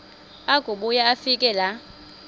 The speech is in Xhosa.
akubuya afike laa